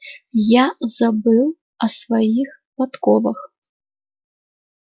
я забыл о своих подковах